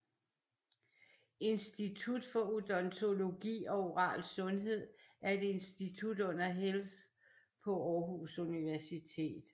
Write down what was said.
Institut for Odontologi og Oral Sundhed er et institut under Health på Aarhus Universitet